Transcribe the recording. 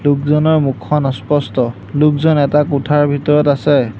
লোকজনৰ মুখখন অস্পষ্ট লোকজন এটা কোঠাৰ ভিতৰত আছে।